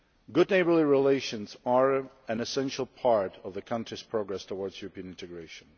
Good neighbourly relations are an essential part of the country's progress towards European integration.